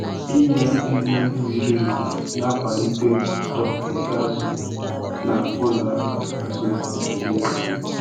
inye nri ziri ezi na-akwalite uto nke azu na ụlọ ọrụ azụ Naijiria.